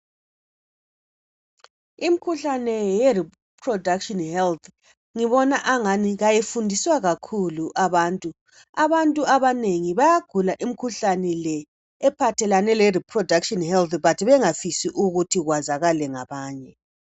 imkhuhlane ye reproduction health ngibona angani kayifundiswa kakhulu abantu abanengi bayagula imikhuhlane ephathelane le reproduction health but bengafisi ukuthi kwazakale ngabanye